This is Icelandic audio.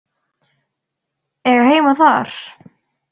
Eiga heima þar?